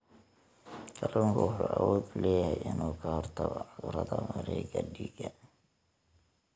Kalluunku wuxuu awood u leeyahay inuu ka hortago cudurrada wareegga dhiigga.